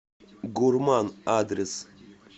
гурман адрес